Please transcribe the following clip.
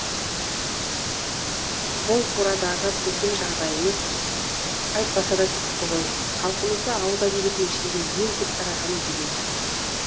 бұл турадағы біздің жағдайымыз айтпаса да түсінікті ғой халқымызда ауыз әдебиетінің ішінде ең көп тарағаны өлең